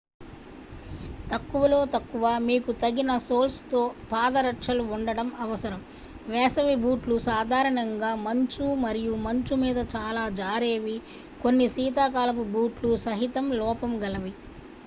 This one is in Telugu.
తక్కువలో తక్కువ మీకు తగిన సోల్స్తో పాదరక్షలు ఉండడం అవసరం వేసవి బూట్లు సాధారణంగా మంచు మరియు మంచు మీద చాలా జారేవి కొన్ని శీతాకాలపు బూట్లు సహితం లోపం గలవి